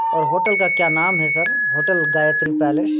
और होटल का क्या नाम है सर होटल गायत्री पैलेस ।